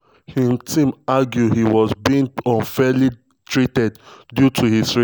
im team argue he was being unfairly targeted due to his race.